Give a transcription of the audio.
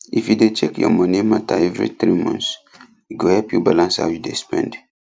if you dey check your money matter every three months e go help you balance how you dey spend